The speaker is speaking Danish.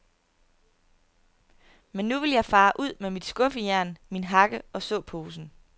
Men nu vil jeg fare ud med mit skuffejern, min hakke og såposen.